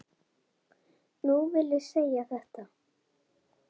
Nú vil ég segja þetta.